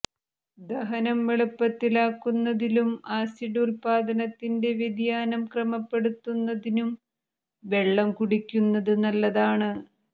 ദഹനം എളുപ്പത്തിലാക്കുന്നതിലും ആസിഡ് ഉത്പാദനത്തിന്റെ വ്യതിയാനം ക്രമപ്പെടുത്തുന്നതിനും വെള്ളം കുടിക്കുന്നത് നല്ലതാണ്